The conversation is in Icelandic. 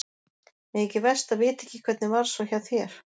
Mér þykir verst að vita ekki hvernig varð svo hjá þér?